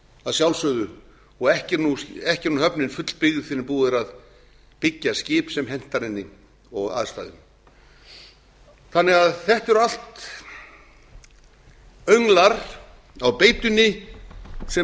að sjálfsögðu og ekki er höfnin fullbyggð fyrr en búið er að byggja skip sem hentar henni og aðstæðum þetta eru allt önglar á beitunni sem